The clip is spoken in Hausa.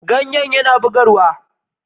Ganye yana bugarwa.